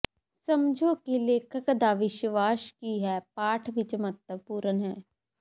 ਸਮਝੋ ਕਿ ਲੇਖਕ ਦਾ ਵਿਸ਼ਵਾਸ ਕੀ ਹੈ ਪਾਠ ਵਿੱਚ ਮਹੱਤਵਪੂਰਨ ਹੈ